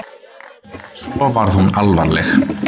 Svo varð hún alvarleg.